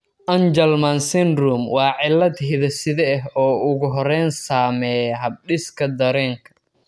Angelman syndrome waa cillad hidde-side ah oo ugu horrayn saameeya habdhiska dareenka.